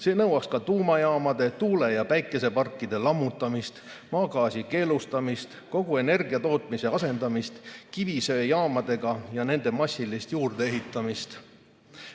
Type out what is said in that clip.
See nõuaks ka tuumajaamade, tuule‑ ja päikeseparkide lammutamist, maagaasi keelustamist, kogu energiatootmise asendamist kivisöejaamadega ja nende massilist juurdeehitamist.